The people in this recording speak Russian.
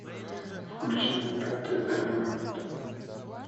включи мне пятый элемент